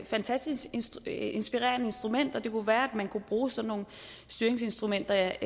fantastisk inspirerende instrument og det kunne være at man kunne bruge sådan nogle styringsinstrumenter